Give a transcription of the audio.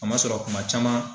Kamasɔrɔ kuma caman